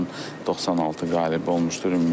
Onun 96 qalib olmuşdur.